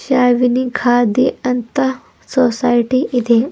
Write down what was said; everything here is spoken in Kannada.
ಶಾವಿನಿ ಖಾದಿ ಅಂತ ಸೊಸೈಟಿ ಇದೆ.